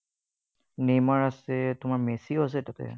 Neymar আছে, তোমাৰ মেছিও আছে তাতে।